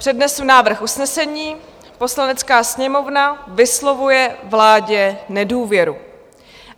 Přednesu návrh usnesení: "Poslanecká sněmovna vyslovuje vládě nedůvěru."